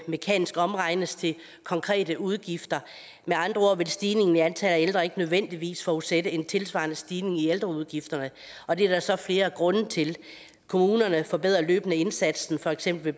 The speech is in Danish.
mekanisk omregnes til konkrete udgifter med andre ord vil stigningen i antallet af ældre ikke nødvendigvis forudsætte en tilsvarende stigning i ældreudgifterne og det er der så flere grunde til kommunerne forbedrer løbende indsatsen for eksempel i